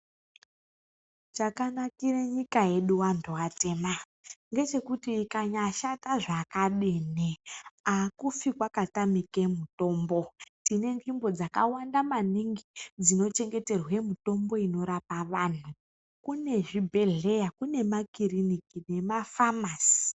Chakanakira nyika yedu vantu vatema, ngechekuti ukanyashata zvakadini. Hakufi kwakatamike mitombo tine nzvimbo zvakawanda maningi dzinochengeterwe mitombo inorapa vantu. Kune zvibhedhleya kune makiriniki nemafamasi.